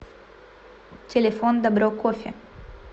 телефон добро кофе